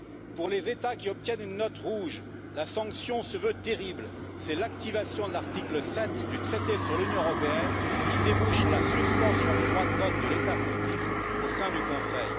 Pour les États qui obtiennent une note rouge, la sanction se veut terrible, c'est l'activation de l'article 7 du traité sur l'Union européenne qui débouche sur la suspension du droit de vote de l'État fautif au sein du Conseil.